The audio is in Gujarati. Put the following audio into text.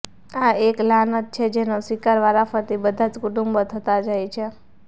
આ એક લાનત છે જેનો શિકાર વારાફરતી બધા જ કુટુંબો થતા જાય છે